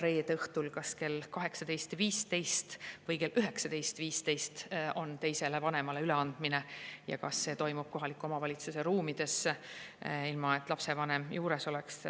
reede õhtul, kas kell 18.15 või kell 19.15 on teisele vanemale üleandmine ja kas see toimub kohaliku omavalitsuse ruumides, ilma et lapsevanem juures oleks.